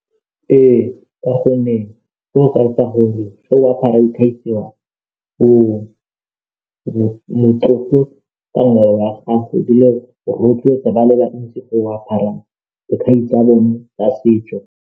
Ee, ka gonne fa o apara casual o motlotlo ka ngwao ya gago ebile o rotloetsa ba le bantsi go apara dikhai tsa bone tsa setso.